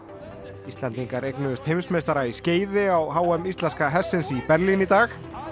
Íslendingar eignuðust heimsmeistara í skeiði á h m íslenska hestsins í Berlín í dag